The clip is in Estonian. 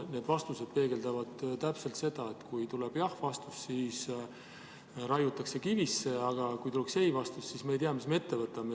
Need vastused peegeldavad täpselt seda, et kui tuleb jah-vastus, siis raiutakse kivisse, aga kui tuleb ei-vastus, siis me ei tea, mis me ette võtame.